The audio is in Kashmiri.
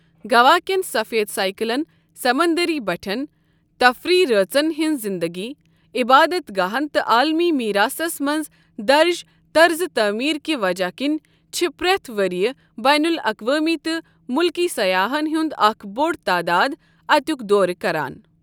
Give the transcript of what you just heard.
گَوا کین سَفید سایکلن سَمنٛدٔری بَٹھیٚن، تفریٖی رٲژن ہِنٛزِ زِنٛدگی، عِبادت گاہن تہٕ عالمی میٖراثس منٛز درٕج طرزِ تعمیٖر کہِ وجہ كِنہِ چھِ پرٛٮ۪تھ ؤریہِ بین الاقوٲمی تہٕ مُلکی سَیاحن ہند اَکھ بوٚڑ تعداد اَتیُک دورٕ کَران۔